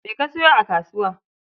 Me ka sayo a kasuwa?